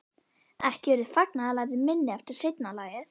Ekki urðu fagnaðarlætin minni eftir seinna lagið.